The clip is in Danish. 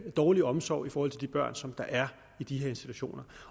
dårlig omsorg for de børn som er i de her institutioner